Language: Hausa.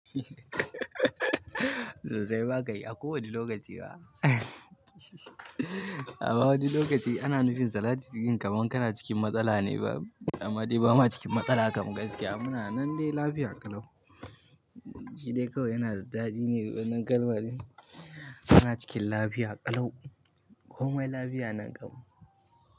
Sosai ma kai, a kowane lokaci ma. Amma wani lokaci ana nufin sa lati cikin kamar kana cikin matsala ne ba, amma dai ba ma cikin matsala kama gaske. Muna nan dai lafiya ƙalau. Shi dai kawai yana da daɗi ne wannan kalma din. Kana cikin lafiya ƙalau. Komai lafiya nan kam.